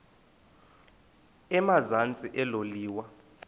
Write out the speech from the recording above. emazantsi elo liwa